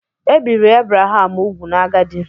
Ebiri Abraham úgwù n'agadi.